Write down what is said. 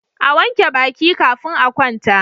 A wanke Baki kafin a kwanta